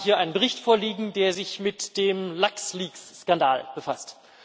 Wir haben hier einen Bericht vorliegen, der sich mit dem LuxLeaks Skandal befasst.